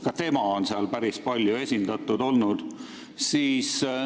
Ka Jüri Ratas on seal päris palju esindatud olnud.